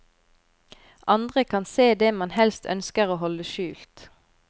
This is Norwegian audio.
Andre kan se det man helst ønsker å holde skjult.